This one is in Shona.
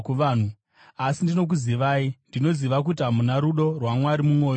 asi ndinokuzivai. Ndinoziva kuti hamuna rudo rwaMwari mumwoyo yenyu.